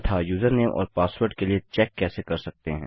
तथा यूजरनेम और पासवर्ड के लिए चेक कैसे कर सकते हैं